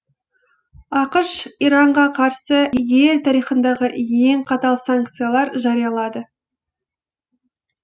ақш иранға қарсы ел тарихындағы ең қатал санкциялар жариялады